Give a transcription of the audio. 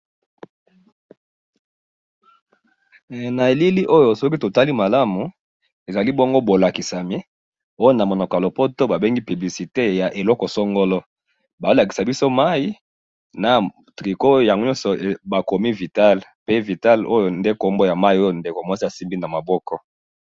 na elili oyo soki totali malamu, ezali bongo bolakisame oyo namonoko ya lopoto babengi publicite ya eloko songolo bazolakisa biso mayi na tricots oyo ya nyoso bakomi Vital, pe Vital oyo nde po mayi oyo ndeko muasi asimbi na maboko